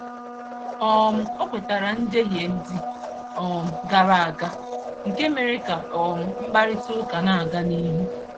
um O kwetara njehie ndị um gara aga, nke mere ka um mkparịtaụka na-aga n'ihu.